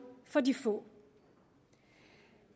for de få